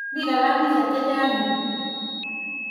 Mi kilamisyek che chang' yu.